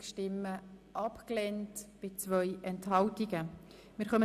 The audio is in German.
Sie haben der Abschreibung zugestimmt.